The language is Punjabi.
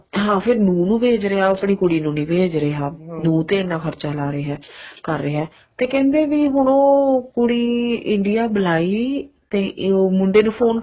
ਹਾਂ ਫ਼ੇਰ ਨੂੰਹ ਨੂੰ ਭੇਜ ਰਿਹਾ ਉਹ ਆਪਣੀ ਕੁੜੀ ਨੂੰ ਨਹੀਂ ਭੇਜ ਰਿਹਾ ਨੂੰਹ ਤੇ ਇਹਨਾ ਖਰਚਾ ਲਾਹ ਰਿਹਾ ਕਰ ਰਿਹਾ ਤੇ ਕਹਿੰਦੇ ਵੀ ਹੁਣ ਉਹ ਕੁੜੀ India ਬੁਲਾਈ ਤੇ ਜੋ ਮੁੰਡੇ ਨੂੰ ਫੋਨ